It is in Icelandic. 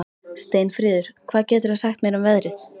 Steinfríður, hvað geturðu sagt mér um veðrið?